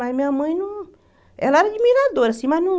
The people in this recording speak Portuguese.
Mas minha mãe não... Ela era admiradora, assim, mas não...